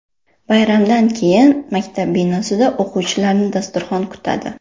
Bayramdan keyin maktab binosida o‘quvchilarni dasturxon kutadi.